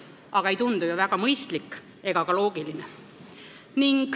Aga ei tundu ju väga mõistlik ega ka loogiline.